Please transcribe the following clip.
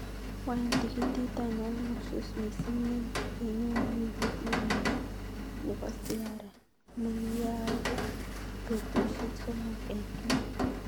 Wany tikitit ainon ne usus mising negenyoru wikit nenyone nebo siara negiyaage betushek somok en Kenya